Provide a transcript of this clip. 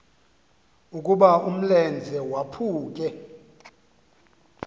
ukuba umlenze waphuke